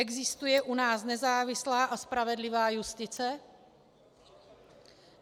Existuje u nás nezávislá a spravedlivá justice?